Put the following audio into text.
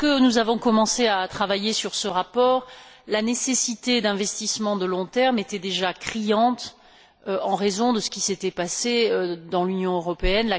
Lorsque nous avons commencé à travailler sur ce rapport, la nécessité d'investissements à long terme était déjà criante en raison de ce qui s'était passé dans l'Union européenne.